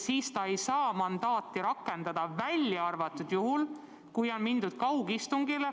Siis ta ei saa mandaati rakendada, välja arvatud juhul, kui on mindud kaugistungile.